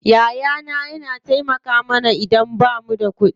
Yaya na yana taimaka mana idan bamu da kuɗi.